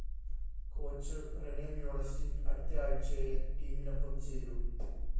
coach Rene Meulensteen‍ അടുത്ത ആഴ്ചയേ ടീമിനൊപ്പം ചേരൂ